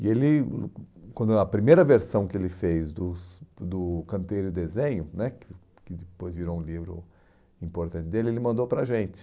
E ele, quando a primeira versão que ele fez dos do Canteiro e Desenho né, que depois virou um livro importante dele, ele mandou para a gente.